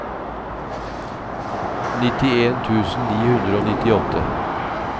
nittien tusen ni hundre og nittiåtte